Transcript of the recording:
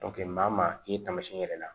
maa maa k'i ye tamasiyɛn wɛrɛ